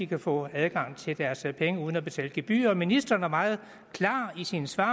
kan få adgang til deres penge uden at betale gebyrer ministeren var meget klar i sine svar